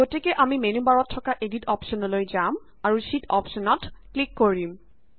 গতিকে আমি মেন্যু বাৰত থকা এদিট অপশ্যনঅলৈ যাম আৰু শ্যিট অপশ্যনত ক্লিক কৰিম